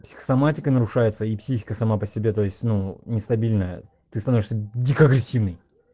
психосоматика нарушается и психика сама по себе то есть ну нестабильная ты становишься дико агрессивный